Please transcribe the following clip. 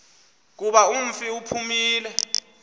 kuba umfi uphumile